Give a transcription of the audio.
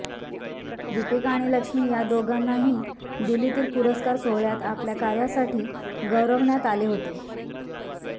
दीपिका आणि लक्ष्मी या दोघांनाही दिल्लीतील पुरस्कार सोहळ्यात आपल्या कार्यासाठी गौरवण्यात आले होते